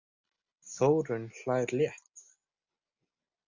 Þórunn hlær létt.